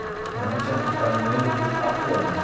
Minha mãe tinha ficado noiva por quatro anos.